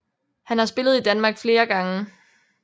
Han har spillet i Danmark flere gange